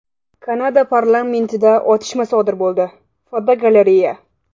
Kanada parlamentida otishma sodir bo‘ldi (fotogalereya).